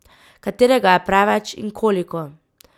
Katerega je preveč in koliko?